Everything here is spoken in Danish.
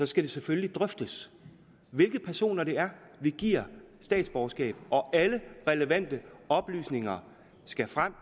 skal selvfølgelig drøftes hvilke personer det er vi giver statsborgerskab og alle relevante oplysninger skal frem